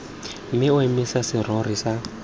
mme o emise serori sa